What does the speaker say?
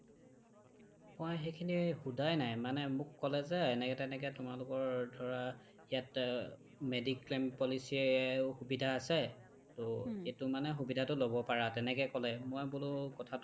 মই সেইখিনি সোধাই নাই মানে মোক ক'লে যে এনেকে তেনেকে তোমালোকৰ ধৰা ইয়াত অ mediclaim policy য়েও সুবিধা আছে টো এইটো মানে সুবিধাটো ল্'ব পাৰা তেনেকৈ ক'লে মই বোলো কথাটো